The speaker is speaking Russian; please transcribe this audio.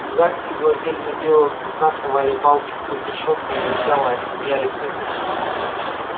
зеваки глазели на белого клыка совали палки сквозь решётку он рычал а они смеялись над ним